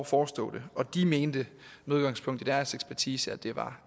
forestå det og de mente med udgangspunkt i deres ekspertise at det var